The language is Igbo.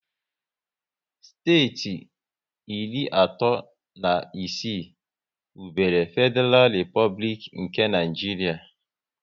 Steeti iri atọ na isii wubere Fediral Replublik nke Naijiria